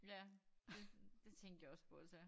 Ja det det tænkte jeg også på så